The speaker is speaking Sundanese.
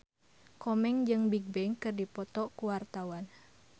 Komeng jeung Bigbang keur dipoto ku wartawan